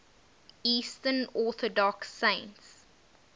eastern orthodox saints